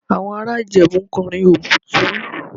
Àwọn ará Ìjẹ̀bú ń kọrin Obitun